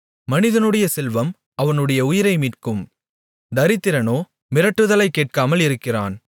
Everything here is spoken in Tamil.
மனிதனுடைய செல்வம் அவனுடைய உயிரை மீட்கும் தரித்திரனோ மிரட்டுதலைக் கேட்காமல் இருக்கிறான்